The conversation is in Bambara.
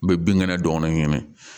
N bɛ bin kɛnɛ dɔgɔnin minɛ